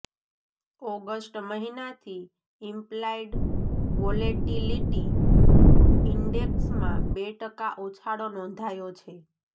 August મહિનાથી implied volatility ઇન્ડેક્સમાં બે ટકા ઉછાળો નોંધાયો છે